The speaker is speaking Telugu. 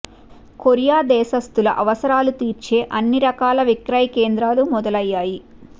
కొరియా దేశస్థుల అవసరాలు తీర్చే అన్ని రకాల విక్రయ కేంద్రాలు మొదలయ్యాయి